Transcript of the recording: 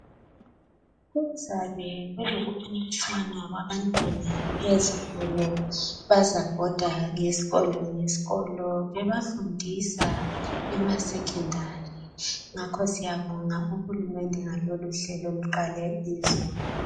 Kuzabe kulokufundisana okwabantwana ezikolo bazabhoda ngezikolo bebafundise emasekhondari ngakho siyabonga uhulumende ngaloluhlelo oluqale izolo.